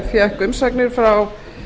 fékk umsagnir frá